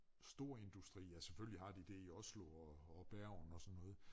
Store industri altså selvfølgelig har de det i Oslo og og Bergen og sådan noget